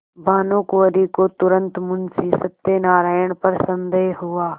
भानुकुँवरि को तुरन्त मुंशी सत्यनारायण पर संदेह हुआ